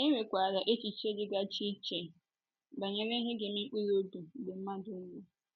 E nwekwara echiche dịgasị iche, banyere ihe ga - eme mkpụrụ obi mgbe mmadụ nwụrụ.